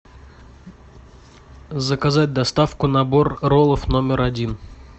заказать доставку набор роллов номер один